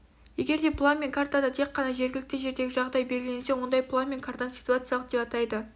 егер де план мен картада тек қана жергілікті жердегі жағдай белгіленсе ондай план мен картаны ситуациялық деп атайды